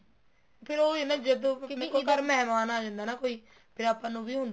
ਫਿਰ ਉਹੀ ਆ ਨਾ ਜਦੋਂ ਆਪਣੇ ਘਰ ਕੋਈ ਮਿਹਮਾਨ ਆ ਜਾਂਦਾ ਨਾ ਕੋਈ ਆਪਾਂ ਨੂੰ ਵੀ ਹੁੰਦਾ